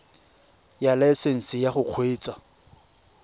ya laesesnse ya go kgweetsa